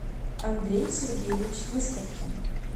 андрей сергеевич выставкин